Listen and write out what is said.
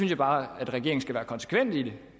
jeg bare at regeringen skal være konsekvent i